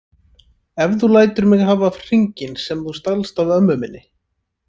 Ef þú lætur mig hafa hringinn sem þú stalst af ömmu minni